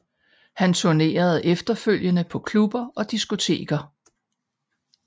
Han turnerede efterfølgende på klubber og diskoteker